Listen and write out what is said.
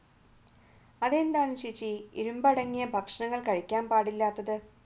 അതെന്താണ് ചേച്ചി ഇരുമ്പ് അടങ്ങിയ ഭക്ഷണങ്ങൾ കഴിക്കാൻ പാടില്ലാത്തത്?